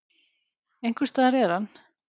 Einhvers staðar er hann.